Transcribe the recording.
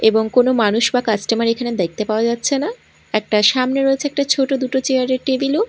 এবং কোন মানুষ বা কাস্টমার এখানে দেখতে পাওয়া যাচ্ছে না একটা সামনে রয়েছে একটা ছোট দুটো চেয়ার -এর টেবিল -ও।